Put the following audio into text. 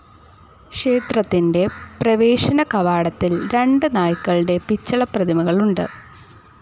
ക്ഷേത്രത്തിന്റെ പ്രവേശന കവാടത്തിൽ രണ്ട് നായ്ക്കളുടെ പിച്ചള പ്രതിമകളുണ്ട്.